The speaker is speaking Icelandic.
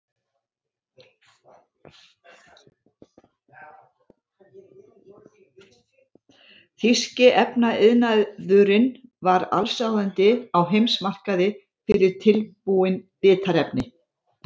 Þýski efnaiðnaðurinn var allsráðandi á heimsmarkaði fyrir tilbúin litarefni.